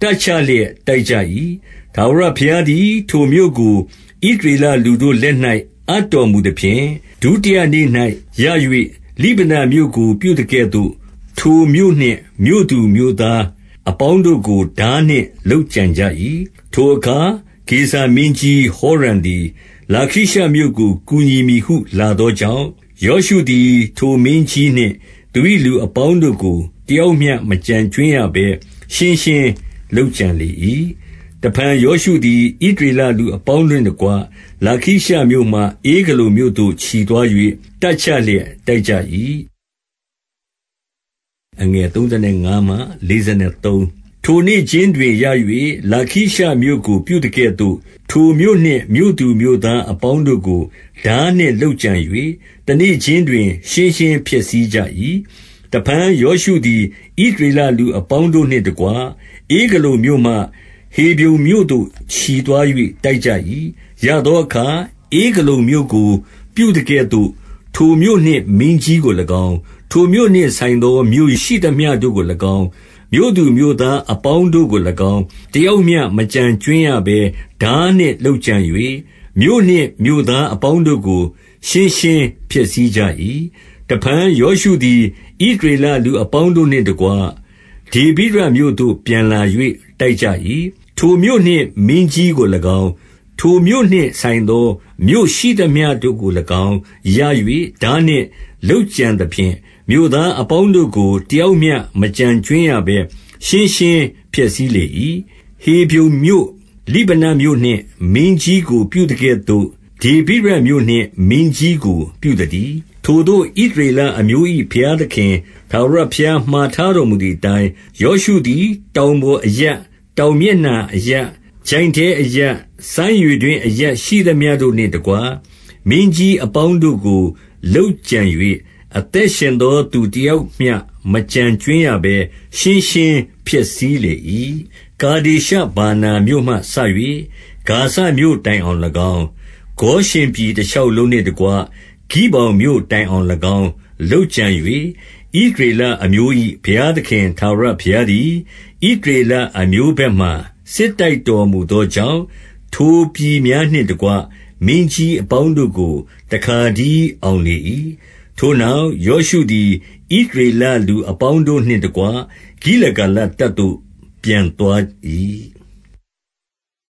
တပ်ချလျက် တိုက်ကြ၏။ 32 ထာဝရဘုရားသည် ထိုမြို့ကို ဣသရေလလူတို့ လက်၌ အပ်တော်မူသဖြင့်၊ ဒုတိယနေ့၌ရ၍ လိဗနမြို့ကို ပြုသကဲ့သို့ ထိုမြို့နှင့် မြို့သူမြို့သားအပေါင်းတို့ကို ထားနှင့် လုပ်ကြံကြ၏။ 33 ထိုအခါ ဂေဇာမင်းကြီး ဟောရံသည်၊ လာခိရှမြို့ ကို ကူညီမည်ဟု လာသောကြောင့်၊ ယောရှုသည် ထိုမင်း ကြီးနှင့် သူ၏လူအပေါင်းတို့ကို တယောက်မျှမကျန်ကြွင်း ရဘဲ ရှင်းရှင်းလုပ်ကြံလေ၏။ 34 တဖန်ယောရှုသည် ဣသရေလလူအပေါင်းတို့ နှင့်တကွ၊ လာခိရှမြို့မှ ဧဂလုန်မြို့သို့ ချီသွား၍ တပ်ချ လျက် တိုက်ကြ၏။ 35 ထိုနေ့ခြင်းတွင်ရ၍ လာခိရှမြို့ကို ပြုသကဲ့သို့၊ ထိုမြို့နှင့် မြို့သူမြို့သားအပေါင်းတို့ကို ထားနှင့်လုပ်ကြံ၍ တနေ့ခြင်းတွင် ရှင်းရှင်းဖျက်ဆီးကြ၏။ 36 တဖန် ယောရှုသည် ဣသရေလလူအပေါင်းတို့ နှင့်တကွ၊ ဧဂလုန်မြို့မှ ဟေဗြုန်မြို့သို့ ချီသွား၍ တိုက်ကြ ၏။ 37 ရသောအခါ၊ ဧဂလုန်မြို့ကို ပြုသကဲ့သို့ ထိုမြို့နှင့် မင်းကြီးကို၎င်း၊ ထိုမြို့နှင့်ဆိုင်သော မြို့ရှိသမျှတို့ကို၎င်း၊ မြို့သူမြို့သားအပေါင်းတို့ကို၎င်း၊ တယောက်မျှ မကျန် ကြွင်းရဘဲ ထားနှင့်လုပ်ကြံ၍ မြို့နှင့်မြို့သားအပေါင်းတို့ ကို ရှင်းရှင်းဖျက်ဆီးကြ၏။ 38 တဖန် ယောရှုသည် ဣသရေလလူအပေါင်းတို့ နှင့်တကွ၊ ဒေဗိရမြို့သို့ ပြန်လာ၍ တိုက်ကြ၏။ 39 ထိုမြို့နှင့် မင်းကြီးကို၎င်း၊ ထိုမြို့နှင့်ဆိုင်သော မြို့ရှိသမျှတို့ကို၎င်း ရ၍၊ ထားနှင့်လုပ်ကြံသဖြင့် မြို့သား အပေါင်းတို့ကို တယောက်မျှမကျန်ကြွင်းရဘဲ ရှင်းရှင်း ဖျက်ဆီးလေ၏။ ဟေဗြုန်မြို့၊ လိဗနမြို့နှင့် မင်းကြီးကို ပြုသကဲ့သို့ ဒေဗိရမြို့နှင့် မင်းကြီးကို ပြုသတည်း။ 40 ထိုသို့ ဣသရေလအမျိုး၏ ဘုရားသခင် ထာဝရ ဘုရား မှာထားတော်မူသည်အတိုင်း၊ ယောရှုသည် တောင် ပေါ်အရပ်၊ တောင်မျက်နှာအရပ်၊ ချိုင့်ထဲအရပ်၊ စမ်းရေ တွင်းအရပ်ရှိသမျှတို့နှင့်တကွ မင်းကြီးအပေါင်းတို့ကို လုပ်ကြံ၍၊ အသက်ရှင်သောသူတယောက်မျှ မကျန်ကြွင်း ရဘဲ ရှင်းရှင်းဖျက်ဆီးလေ၏။ 41 ကာဒေရှဗာနာမြို့မှစ၍ ဂါဇမြို့တိုင်အောင်၎င်း၊ ဂေါရှင်ပြည်တရှောက်လုံးနှင့်တကွ၊ ဂိဗောင်မြို့တိုင် အောင်၎င်း လုပ်ကြံ၍၊ 42 ဣသရေလအမျိုး၏ ဘုရားသခင် ထာဝရဘုရား သည်၊ ဣသရေလအမျိုးဘက်မှာ စစ်တိုက်တော်မူသော ကြောင့်၊ ထိုပြည်သားများနှင့်တကွ မင်းကြီးအပေါင်းတို့ကို တခါတည်း အောင်လေ၏။ 43 ထိုနောက် ယောရှုသည်၊ ဣသရေလလူအ ပေါင်းတို့နှင့်တကွ ဂိလဂါလတပ်သို့ ပြန်သွား၏။